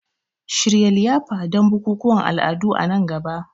Shirya liyafa don bukukuwan al'adu a nan gaba.